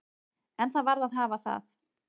En það varð að hafa það.